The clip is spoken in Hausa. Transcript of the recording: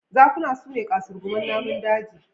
Zakuna su ne ƙasurguman namun daji.